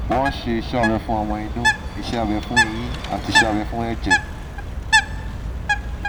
wọ́n ṣe iṣẹ́ abẹ fún ọmọ inú iṣẹ́ abẹ fún ẹyin àti iṣẹ́ abẹ fún ẹ̀jẹ̀